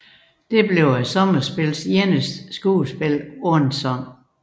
Det blev sommerspillets eneste skuespil uden sang